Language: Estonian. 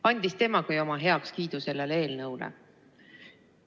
Andis temagi oma heakskiidu sellele eelnõule.